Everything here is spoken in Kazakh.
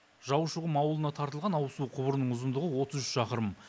жаушықұм ауылына тартылған ауызсу құбырының ұзындығы отыз үш шақырым